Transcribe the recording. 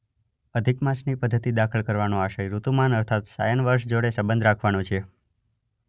અધિક માસની પદ્ધતિ દાખલ કરવાનો આશય ઋતુમાન અર્થાત સાયન વર્ષ જોડે સંબંધ રાખવાનો છે.